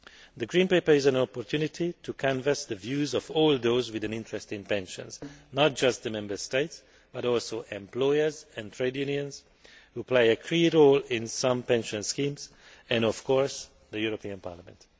The Green Paper is an opportunity to canvass the views of all those with an interest in pensions not just the Member States, but also employers and trade unions who play a key role in some pension schemes and, of course, the European Parliament.